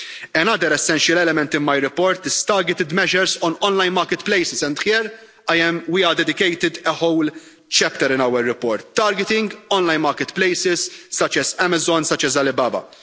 Another essential element in my report is targeted measures on online marketplaces and here we have dedicated a whole chapter in our report targeting online marketplaces such as Amazon and Alibaba.